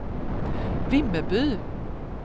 Vimmerby